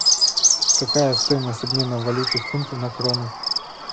какая стоимость обмена валюты фунты на кроны